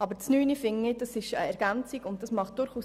Planungserklärung 9 ist eine Ergänzung für Grossprojekte.